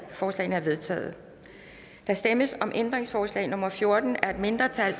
forslagene er vedtaget der stemmes om ændringsforslag nummer fjorten af et mindretal